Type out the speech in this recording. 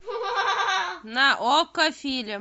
на окко фильм